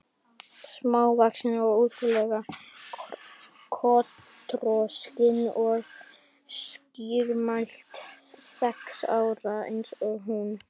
Smávaxin og ótrú- lega kotroskin og skýrmælt, sex ára eins og hún.